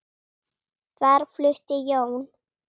Þar flutti Jón